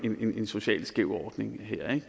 socialt skæv ordning her ikke